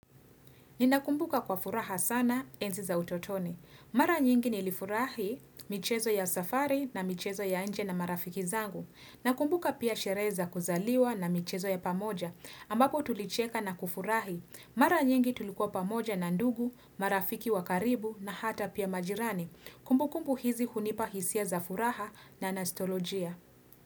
Ninakumbuka kwa furaha sana enzi za utotoni. Mara nyingi nilifurahi michezo ya safari na michezo ya nje na marafiki zangu. Nakumbuka pia sherehe za kuzaliwa na michezo ya pamoja. Ambako tulicheka na kufurahi. Mara nyingi tulikuwa pamoja na ndugu, marafiki wa karibu na hata pia majirani. Kumbukumbu hizi hunipa hisia za furaha na nastolojia.